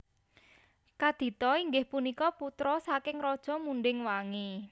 Kadita inggih punika putra saking Raja Munding Wangi